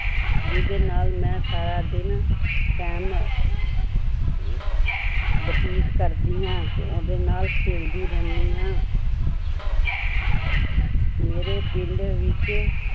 ਜਿਹਦੇ ਨਾਲ ਮੈਂ ਸਾਰਾ ਦਿਨ time ਅਹ ਬਤੀਤ ਕਰਦੀ ਹਾਂ ਤੇ ਉਹਦੇ ਨਾਲ ਖੇਡਦੀ ਰਹਿੰਦੀ ਹਾਂ ਮੇਰੇ ਪਿੰਡ ਵਿੱਚ